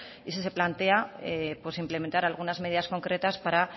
y si se plantea implementar algunas medidas concretas para